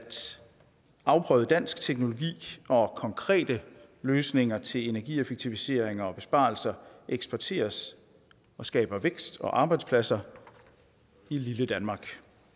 afprøvet dansk teknologi og konkrete løsninger til energieffektiviseringer og besparelser eksporteres og skaber vækst og arbejdspladser i lille danmark